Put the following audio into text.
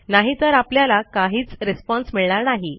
नाहीतर आपल्याला काहीच रिस्पॉन्स मिळणार नाही